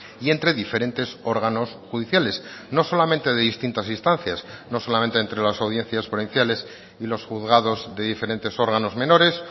y entre diferentes órganos judiciales no solamente de distintas instancias no solamente entre las audiencias provinciales y los juzgados de diferentes órganos menores